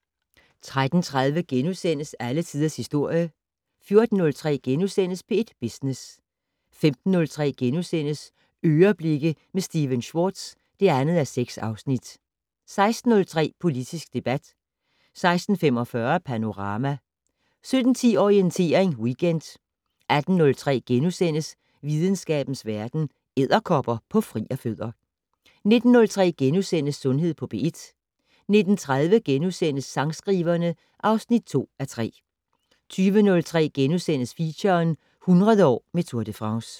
13:30: Alle tiders historie * 14:03: P1 Business * 15:03: "Øreblikke" med Stephen Schwartz (2:6)* 16:03: Politisk debat 16:45: Panorama 17:10: Orientering Weekend 18:03: Videnskabens Verden: Edderkopper på frierfødder * 19:03: Sundhed på P1 * 19:30: Sangskriverne (2:3)* 20:03: Feature - 100 år med Tour de France *